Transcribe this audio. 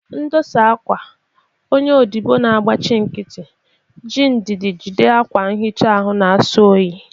Ndosa akwa, onye odibo na-agbachi nkịtị, ji ndidi jide akwa nhicha anyị na-asọ oyi.